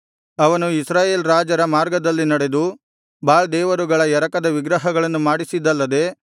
ಅವನು ಇಸ್ರಾಯೇಲ್ ರಾಜರ ಮಾರ್ಗದಲ್ಲಿ ನಡೆದು ಬಾಳ್ ದೇವರುಗಳ ಎರಕದ ವಿಗ್ರಹಗಳನ್ನು ಮಾಡಿಸಿದ್ದಲ್ಲದೆ